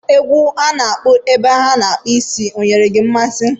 Egwu na-akpọ ebe a a na-akpụ isi ọ nyere gị mmasị